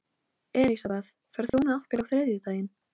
Elisabeth, ferð þú með okkur á þriðjudaginn?